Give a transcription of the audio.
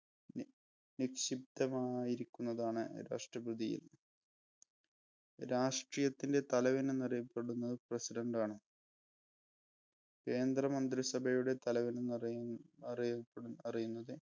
നി നിക്ഷിപ്തമായിരിക്കുന്നതാണ് രാഷ്ട്രപതിയിൽ. രാഷ്ട്രീയത്തിൻ്റെ തലവൻ എന്നറിയപ്പെടുന്നത് president ആണ്. കേന്ദ്രമന്ത്രിസഭയുടെ തലവൻ എന്നറി അറിയപ്പെ അറിയുന്നത്